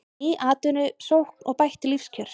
Ný atvinnusókn og bætt lífskjör